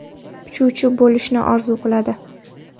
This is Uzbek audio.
Uchuvchi bo‘lishni orzu qiladi.